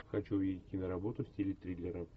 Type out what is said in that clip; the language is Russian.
хочу увидеть киноработу в стиле триллера